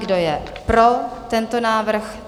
Kdo je pro tento návrh?